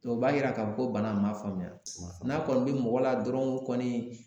Dɔnku o b'a yira k'a fɔ ko bana in ma faamuya n'a kɔni be mɔgɔ la dɔrɔnw kɔni